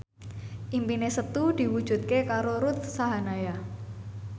impine Setu diwujudke karo Ruth Sahanaya